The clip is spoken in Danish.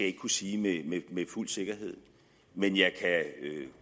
ikke kunne sige med fuld sikkerhed men jeg kan